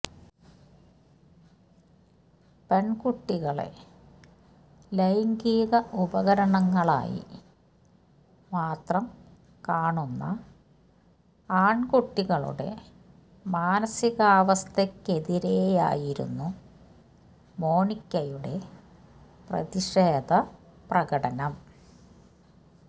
പെൺകുട്ടികളെ ലൈംഗിക ഉപകരണങ്ങളായി മാത്രം കാണുന്ന ആൺകുട്ടികളുടെ മാനസികാവസ്ഥയ്ക്കെതിരെയായിരുന്നു മോണിക്കയുടെ പ്രതിഷേധ പ്രകടനം